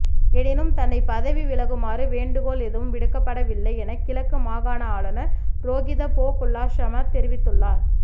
எனினும் தன்னை பதவி விலகுமாறு வேண்டுகோள் எதுவும் விடுக்கப்படவில்லை என கிழக்கு மாகாண ஆளுநர் ரோகித போகொல்லாஹம தெரிவித்துள்ளார்